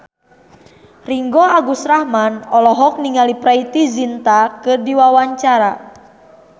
Ringgo Agus Rahman olohok ningali Preity Zinta keur diwawancara